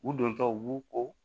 U dontɔw u b'u ko